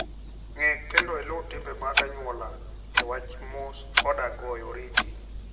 Ng'e kendo iluw timbe mag anyuola e wach mos koda goyo oriti.